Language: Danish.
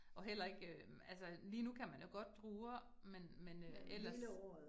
Og heller ikke øh altså lige nu kan man jo godt druer, men men øh ellers